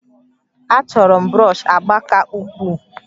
Achọrọ m brọsh agba ka ukwuu